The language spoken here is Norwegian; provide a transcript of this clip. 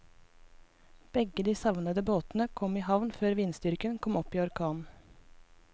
Begge de savnede båtene kom i havn før vindstyrken kom opp i orkan.